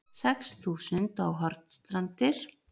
Sex þúsund á Hornstrandir